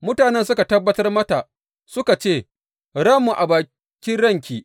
Mutanen suka tabbatar mata suka ce, Ranmu a bakin ranki!